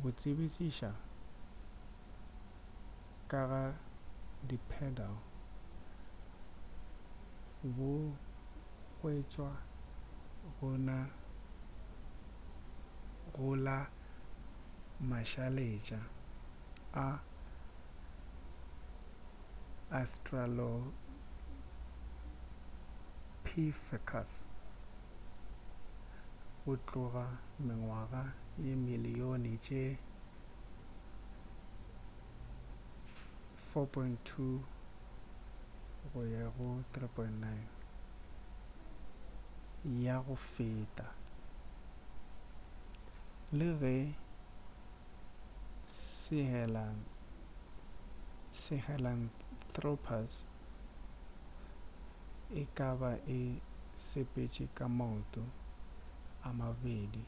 bo tsebišiša ka ga bipedal bo hwetšwa go la mašaletša a australopithecus go tloga mengwaga ye dimilion tše 4.2-3.9 ya go feta le ge sahelanthropus e ka ba e sepetše ka maoto a mabedi